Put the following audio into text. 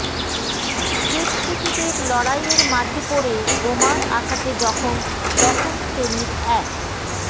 দুষ্কৃতীদের লড়াইয়ের মাঝে পড়ে বোমার আঘাতে জখম দশম শ্রেণীর এক